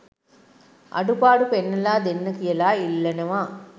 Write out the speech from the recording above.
අඩුපාඩු පෙන්නලා දෙන්න කියලා ඉල්ලනවා.